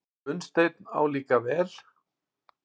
Gunnsteinn álíka vel.